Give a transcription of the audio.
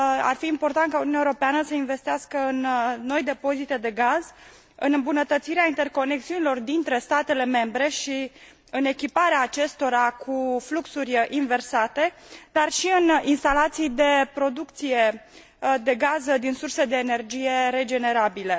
fi important ca Uniunea Europeană să investească în noi depozite de gaz, în îmbunătățirea interconexiunilor dintre statele membre și în echiparea acestora cu fluxuri inversate, dar și în instalații de producție de gaz din surse de energie regenerabile.